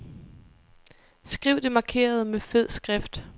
Skriv det markerede med fed skrift.